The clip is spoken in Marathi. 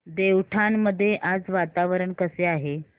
देवठाण मध्ये आज वातावरण कसे आहे